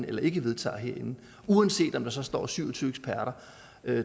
eller ikke vedtager herinde uanset om der så står syv og tyve eksperter